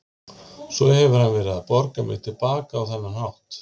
Svo hefur hann verið að borga mér til baka á þennan hátt.